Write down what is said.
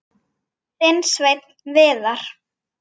Þinn Sveinn Viðar.